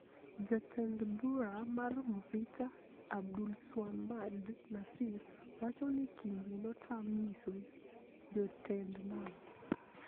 Jatend bura mar Mvita Abdulswamad Nassir wacho ni Kingi notam nyiso jotend nam